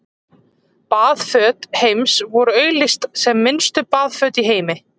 Baðföt Heims voru auglýst sem minnstu baðföt í heimi.